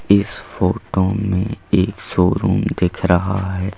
इस फोटो में एक शोरूम दिख रहा है।